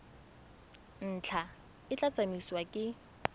ntlha e tla tsamaisiwa ke